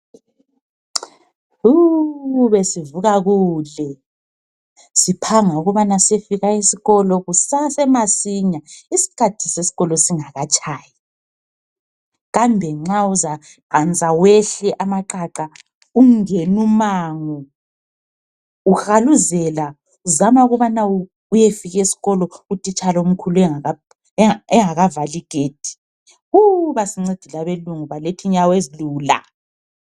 Wu! Besivuka kule siphanga ukubana siyefika esikolo kusasemasinya isikhathi sesikolo singakatshayi. Kambe nxa uzaqansa wehle amaqaqa ungenumango uhaluzela uzama ukubana uyefika esikolo utitshala omkhulu engakavali igedi. Wu! Basincedile abelungu baletha inyawo ezilula!